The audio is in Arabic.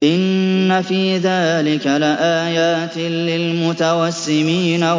إِنَّ فِي ذَٰلِكَ لَآيَاتٍ لِّلْمُتَوَسِّمِينَ